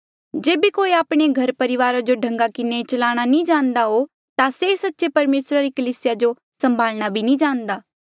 जेबे कोई आपणे घरापरिवारा जो ठीक ढंगा किन्हें चलाणा नी जाणदा हो ता से सच्चे परमेसरा री कलीसिया जो सम्भाल्णा भी नी जाणदा